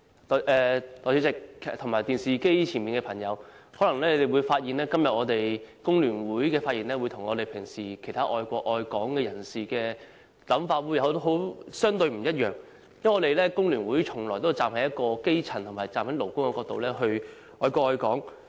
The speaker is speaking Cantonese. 代理主席、電視機前的朋友，大家可能發現香港工會聯合會今天的發言，跟其他愛國愛港人士平時的想法相對不同，因為工聯會從來也是站在基層和勞工的角度愛國愛港。